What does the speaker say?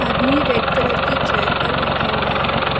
मि red colour की chair पर बैठा हुआ है।